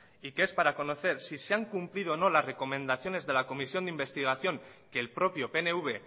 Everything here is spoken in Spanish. y que es para conocer si se han cumplido o no las recomendación de la comisión de la investigación que el propio pnv